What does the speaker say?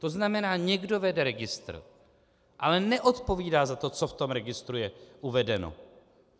To znamená, někdo vede registr, ale neodpovídá za to, co v tom registru je uvedeno.